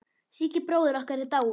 Siggi bróðir okkar er dáinn.